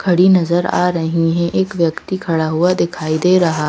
खड़ी नजर आ रही हैै एक व्यक्ति खड़ा हुआ दिखाई दे रहा--